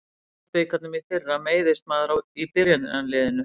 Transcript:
Í deildabikarnum í fyrra meiðist maður í byrjunarliðinu.